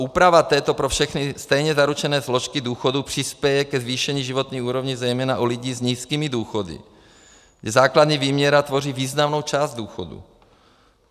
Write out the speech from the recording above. Úprava této pro všechny stejně zaručené složky důchodu přispěje ke zvýšení životní úrovně zejména u lidí s nízkými důchody, kde základní výměna tvoří významnou část důchodu.